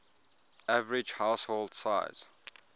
average household size